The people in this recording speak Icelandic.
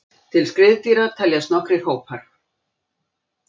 Til skriðdýra teljast nokkrir hópar.